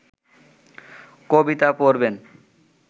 কবিতা পড়বেন